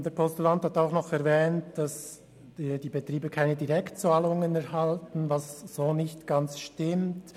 Der Postulant hat auch erwähnt, die Betriebe erhielten keine Direktzahlungen, was nicht vollständig der Wirklichkeit entspricht.